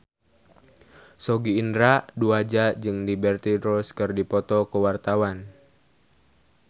Sogi Indra Duaja jeung Liberty Ross keur dipoto ku wartawan